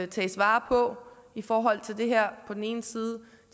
tages vare på i forhold til det her på den ene side